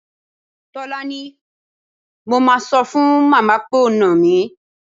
Tólání, mo máa sọ fún màmá pé o nà mí.